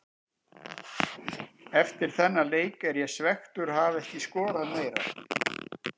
Eftir þennan leik er ég svekktur að hafa ekki skorað meira.